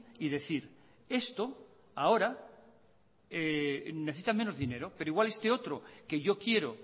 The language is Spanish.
y decir esto ahora necesita menos dinero pero igual esto otro que yo quiero